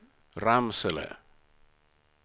Ramsele